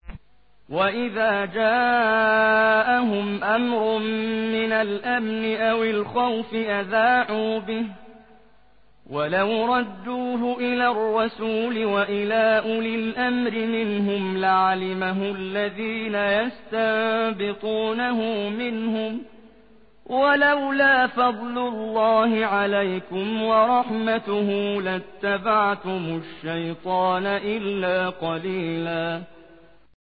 وَإِذَا جَاءَهُمْ أَمْرٌ مِّنَ الْأَمْنِ أَوِ الْخَوْفِ أَذَاعُوا بِهِ ۖ وَلَوْ رَدُّوهُ إِلَى الرَّسُولِ وَإِلَىٰ أُولِي الْأَمْرِ مِنْهُمْ لَعَلِمَهُ الَّذِينَ يَسْتَنبِطُونَهُ مِنْهُمْ ۗ وَلَوْلَا فَضْلُ اللَّهِ عَلَيْكُمْ وَرَحْمَتُهُ لَاتَّبَعْتُمُ الشَّيْطَانَ إِلَّا قَلِيلًا